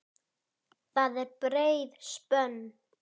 Það er breið spönn.